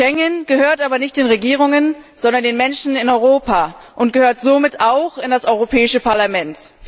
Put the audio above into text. Schengen gehört aber nicht den Regierungen, sondern den Menschen in Europa und gehört somit auch in das Europäische Parlament.